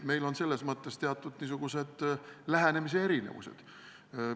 Meil on selles mõttes teatud lähenemise erinevused.